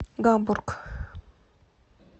гамбург